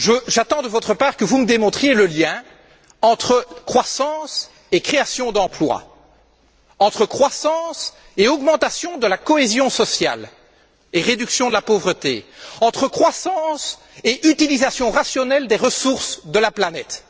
J'attends de votre part que vous me démontriez le lien entre croissance et création d'emplois, entre croissance et augmentation de la cohésion sociale et réduction de la pauvreté, entre croissance et utilisation rationnelle des ressources de la planète.